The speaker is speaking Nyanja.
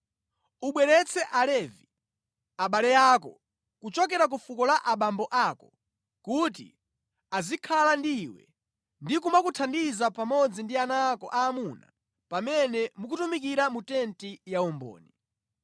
Ubweretse Alevi, abale ako, kuchokera ku fuko la abambo ako kuti azikhala ndi iwe ndi kumakuthandiza pamodzi ndi ana ako amuna pamene mukutumikira mu tenti ya umboni.